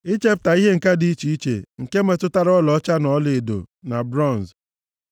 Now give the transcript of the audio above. Ichepụta ihe ǹka dị iche iche, nke metụtara ọlaọcha na ọlaedo na bronz,